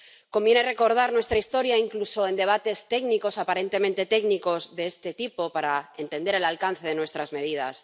Conviene recordar nuestra historia, incluso en debates técnicos —aparentemente técnicos— de este tipo para entender el alcance de nuestras medidas.